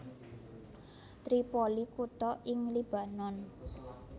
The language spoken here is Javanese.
Tripoli kutha ing Libanon